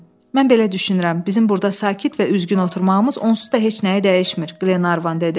Mən belə düşünürəm, bizim burda sakit və üzgün oturmağımız onsuz da heç nəyi dəyişmir, Qlenarvan dedi.